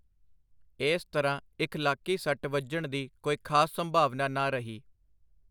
ਇਸ ਤਰ੍ਹਾਂ ਇਖਲਾਕੀ ਸੱਟ ਵਜਣ ਦੀ ਕੋਈ ਖਾਸ ਸੰਭਾਵਨਾ ਨਾ ਰਹੀ.